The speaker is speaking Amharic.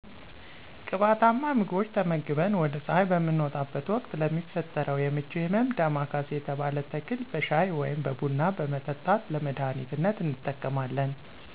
ቅባታማ ምግቦች ተመግበን ወደ ፀሐይ በምንወጣበት ወቅት ለሚፈጠረው የምች ህመም ዳማካሴ የተባለ ተክል በሻይ ወይም በቡና በመጠጣት ለመዳህኒትነት እንጠቀማለን።